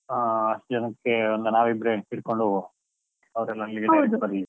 ಹಾ, ಅಷ್ಟು ಜನಕ್ಕೆ ನಾವು ಇಬ್ರೇ ಹಿಡ್ಕೊಂಡು ಹೋಗುವ, ಅಲ್ಲಿಗೆ separate ಬರ್ಲಿ.